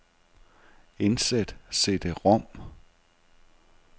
Indsæt cd-rom.